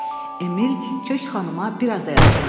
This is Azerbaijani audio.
Emil kök xanıma biraz da yaxınlaşdı.